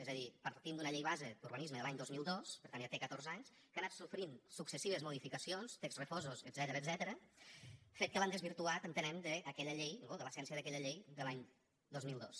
és a dir partim d’una llei base d’urbanisme de l’any dos mil dos per tant ja té catorze anys que ha anat sofrint successives modificacions texts refosos etcètera fet que l’ha desvirtuat entenem d’aquella llei no de l’essència d’aquella llei de l’any dos mil dos